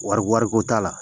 Wari wariko t'a la